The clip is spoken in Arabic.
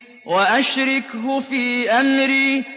وَأَشْرِكْهُ فِي أَمْرِي